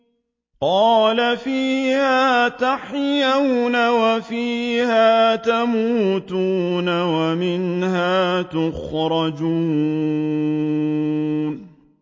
قَالَ فِيهَا تَحْيَوْنَ وَفِيهَا تَمُوتُونَ وَمِنْهَا تُخْرَجُونَ